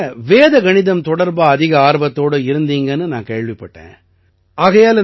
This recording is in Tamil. நீங்க வேத கணிதம் தொடர்பா அதிக ஆர்வத்தோட இருக்கீங்கன்னு நான் கேள்விப்பட்டேன்